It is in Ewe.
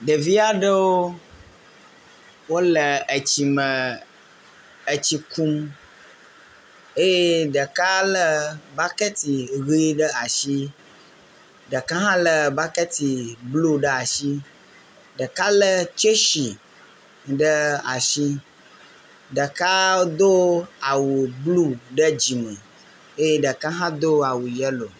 Ɖevi aɖewo wole tsi me etsi kum eye ɖeka lé bakɛti ʋie ɖe asi. Ɖeka hã lé bakɛti blu ɖe asi, ɖeka lé tseshi ɖe asi, ɖeka do awu blu ɖe dzime eye ɖeka hã do awu yelo.